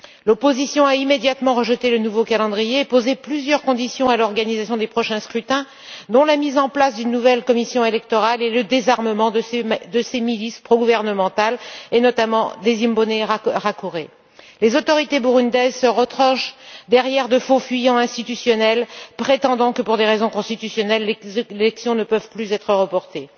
L'opposition a immédiatement rejeté le nouveau calendrier et posé plusieurs conditions à l'organisation des prochains scrutins, dont la mise en place d'une nouvelle commission électorale et le désarmement des milices progouvernementales, notamment des Imbonerakure. Les autorités burundaises se retranchent derrière de faux fuyants institutionnels, prétendant que, pour des raisons constitutionnelles, les élections ne peuvent plus être reportées.